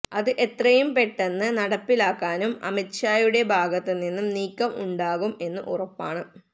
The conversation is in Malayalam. അത് എത്രയും പെട്ടെന്ന് നടപ്പിലാക്കാനും അമിത് ഷായുടെ ഭാഗത്ത് നിന്ന് നീക്കം ഉണ്ടാകും എന്ന് ഉറപ്പാണ്